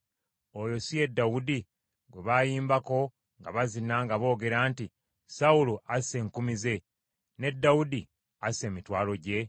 Oyo si ye Dawudi gwe baayimbangako, nga bazina, nga boogera nti, “ ‘Sawulo asse enkumi ze, ne Dawudi asse emitwalo gye?’ ”